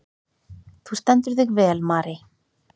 Þú stendur þig vel, Marey!